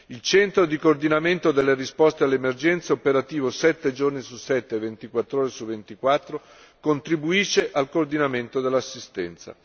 Il centro di coordinamento della risposta alle emergenze, operativo sette giorni su sette e ventiquattr'ore su ventiquattro, contribuisce al coordinamento dell'assistenza.